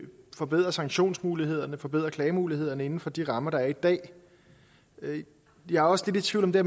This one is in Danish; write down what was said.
forbedre sanktionsmulighederne forbedre klagemulighederne inden for de rammer der er i dag jeg er også lidt i tvivl om det